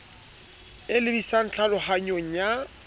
e lebi sang tlhalohanyong ya